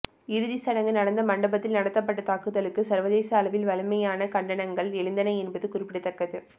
இறுதிச் சடங்கு நடந்த மண்டபத்தில் நடத்தப்பட்ட தாக்குதலுக்கு சர்வதேச அளவில் வலிமையான கண்டனங்கள் எழுந்தன என்பது குறிப்பிடத்தக்கது